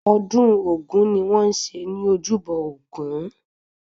Ọdún ogún ni wọ́n ń ṣe ní ojúbọ Ògún